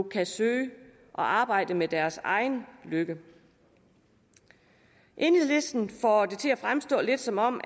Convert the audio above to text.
kan søge og arbejde med deres egen lykke enhedslisten får det til at fremstå lidt som om